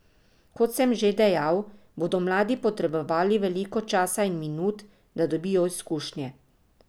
Kot sem že dejal, bodo mladi potrebovali veliko časa in minut, da dobijo izkušnje.